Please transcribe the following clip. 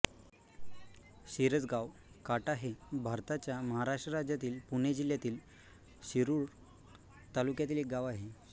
शिरसगांव काटा हे भारताच्या महाराष्ट्र राज्यातील पुणे जिल्ह्यातील शिरूर तालुक्यातील एक गाव आहे